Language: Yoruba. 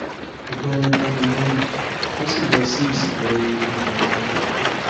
ìbọn yẹn bá mi lọrùn ó sì lọ sí ìsàlẹ eegun eyín mi